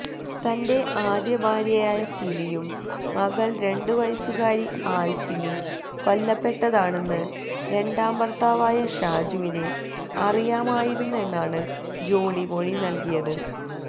തന്റെ ആദ്യഭാര്യയായ സിലിയും മകള് രണ്ട് വയസുകാരി ആല്ഫിനും കൊല്ലപ്പെട്ടതാണെന്ന് രണ്ടാം ഭര്ത്താവായ ഷാജുവിന് അറിയാമായിരുന്നെന്നാണ് ജോളി മൊഴി നല്കിയത്